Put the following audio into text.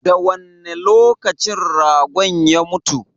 Da wanne lokacin ragon ya mutu?